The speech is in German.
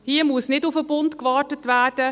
Hier muss nicht auf den Bund gewartet werden.